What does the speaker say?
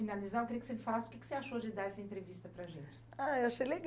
finalizar, eu queria que você falasse o que que você achou de dar essa entrevista para a gente. Ah, achei legal